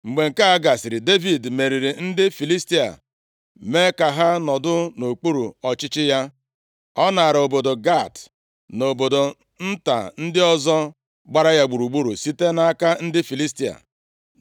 Mgbe nke a gasịrị, Devid meriri ndị Filistia, mee ka ha nọdụ nʼokpuru ọchịchị ya. Ọ naara obodo Gat na obodo nta ndị ọzọ gbara ya gburugburu site nʼaka ndị Filistia.